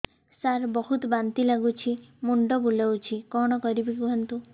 ସାର ବହୁତ ବାନ୍ତି ଲାଗୁଛି ମୁଣ୍ଡ ବୁଲୋଉଛି କଣ କରିବି କୁହନ୍ତୁ